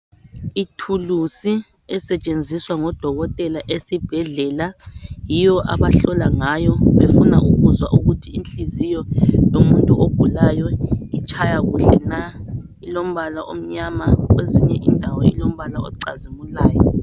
Ithuluzi esetshenziswa ngodokotela esibhedlela yiyo abahlola ngayo befuna ukuzwa ukuthi inhliziyo yomuntu ogulayo itshaya kuhle na . Ilombala omnyama kwezinye indawo ilombala ocazimulayo